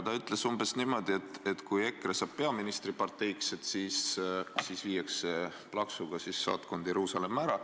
Ta ütles umbes niimoodi, et kui EKRE saab peaministriparteiks, siis viiakse saatkond plaksuga Jeruusalemma ära.